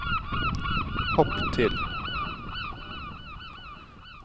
hopp til